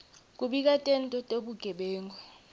kubika tento tebugebengu